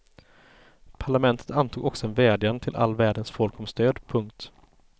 Parlamentet antog också en vädjan till all världens folk om stöd. punkt